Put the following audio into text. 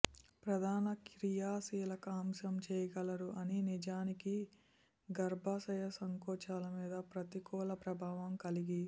ప్రధాన క్రియాశీలక అంశం చేయగలరు అని నిజానికి గర్భాశయ సంకోచాలు మీద ప్రతికూల ప్రభావం కలిగి